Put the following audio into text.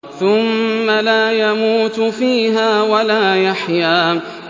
ثُمَّ لَا يَمُوتُ فِيهَا وَلَا يَحْيَىٰ